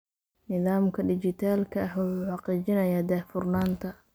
Nidaamka dhijitaalka ah wuxuu xaqiijinayaa daahfurnaanta.